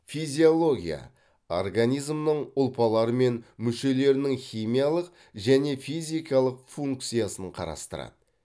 физиология организмнің ұлпалары мен мүшелерінің химиялық және физикалық функциясын қарастырады